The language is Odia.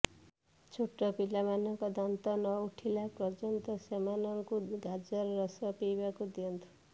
ଛୋଟ ପିଲାମାନଙ୍କ ଦାନ୍ତ ନ ଉଠିଲା ପର୍ଯ୍ୟନ୍ତ ସେମାନଙ୍କୁ ଗାଜର ରସ ପିଇବାକୁ ଦିଅନ୍ତୁ